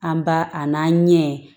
An b'a a n'a ɲɛ